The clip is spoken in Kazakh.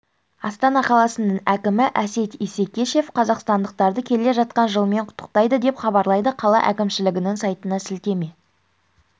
астана қаласының әкімі әсет исекешев қазақстандықтарды келе жатқан жылмен құттықтады деп хабарлайды қала әкімшілігінің сайтына сілтеме